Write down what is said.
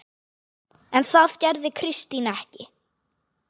En það gerði Kristín ekki.